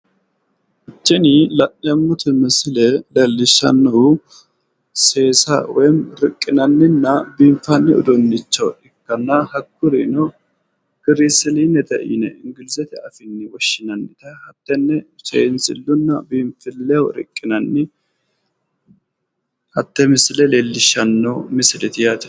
TIni la'neemmoti misile leellishanonkeri seesileho horonsi'neemmo albaho riqineemmo woyi bidhineemmore ikkaseti